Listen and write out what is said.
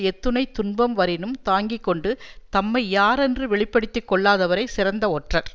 எத்துணைத் துன்பம் வரினும் தாங்கி கொண்டு தம்மை யாரென்று வெளி படுத்தி கொள்ளாதவரே சிறந்த ஒற்றர்